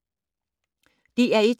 DR1